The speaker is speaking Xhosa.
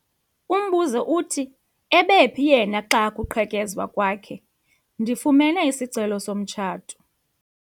Umbuzo uthi ebephi yena xa kuqhekezwa kwakhe? ndifumene isicelo somtshato